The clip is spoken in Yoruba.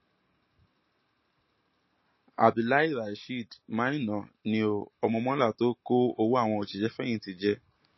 abdulahi rasheed maina ni ó ọmọ mọla tó kó owó àwọn òṣìṣẹfẹyìntì jẹ